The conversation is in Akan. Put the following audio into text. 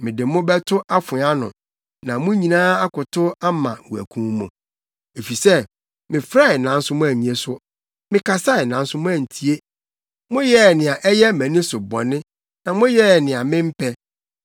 mede mo bɛto afoa ano, na mo nyinaa akotow ama wɔakum mo; efisɛ mefrɛe nanso moannye so, mekasae nanso moantie. Moyɛɛ nea ɛyɛ mʼani so bɔne na moyɛɛ nea mempɛ.”